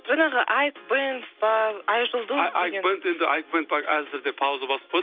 жаңағы айк бэнд па айжұлдыз деген айк бэнд енді айк бэнд әзірге пауза басып қойдық